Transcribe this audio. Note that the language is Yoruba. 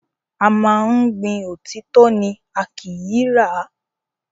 A máa ń gbin òtítọ́ ni, a kìí rà á.